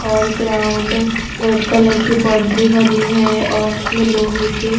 और ground red colour की boundary बनी है और इसमें लोहे के--